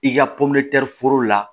I ka pɔmɛri foro la